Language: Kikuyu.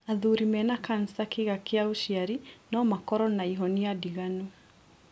Athuri mena cancer kĩga kĩa ũciari no makoro na ihonia ndiganu.